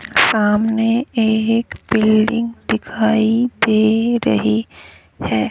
सामने एक बिल्डिंग दिखाई दे रही है।